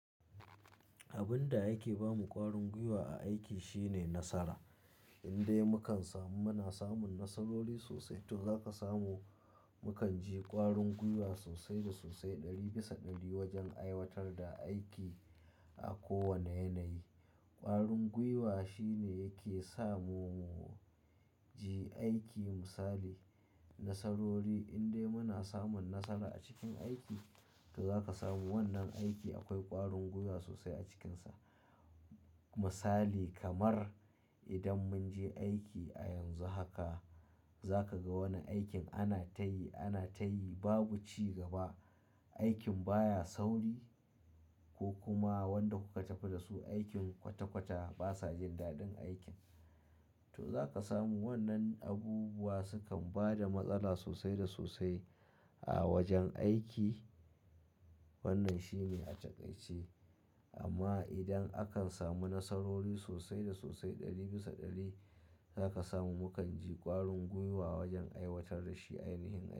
Abin da yake ba mu ƙwarin gwiwa a aiki shine nasara. Indai mu kan samu, muna samun nasarori sosai, to za ka samu. Mu kan ji ƙwarin gwiwa sosai da sosai ɗari bisa ɗari wajen aiwatar da aiki a kowane yanayi. Ƙwarin gwiwa shine yake samu mu je aiki misali nasarori. Indai muna samun nasara a cikin aiki, to za ka samu wannan aiki akwai ƙwarin gwiwa sosai a cikinsa. Misali kamar idan mun je aiki a yanzu haka, za ka ga wani aikin ana ta yi, ana ta yi babu cigaba. Aikin baya sauri ko kuma wanda kuka tafi da su aikin kwata-kwata basa jin dadin aikin. To za ka samu wannan abubuwa sukan bada matsala sosai da sosai a wajen aiki. Wannan shine a takaice. Amma idan akan samu nasarori sosai da sosai ɗari bisa ɗari, za ka samu. Mu kan ji ƙwarin gwiwa wajen aiwatar da shi ainihin aiki.